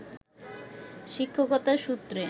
শিক্ষকতার সূত্রে